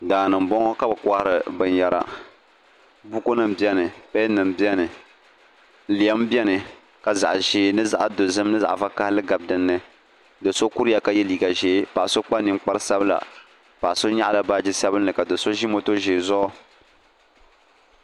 Daa ni n bɔŋɔ ka bi kɔhiri binyara buku nima bɛni pɛn nima bɛni lem bɛni ka zaɣi ʒee ni zaɣi ni zaɣi dozim ni zaɣi vakahali gabi dini do so kuriya ka ye liiga zɛɛ paɣa so kpa ninkpara sabila paɣa nyaɣa la baaji sabili so zi moto ʒɛɛ zuɣu.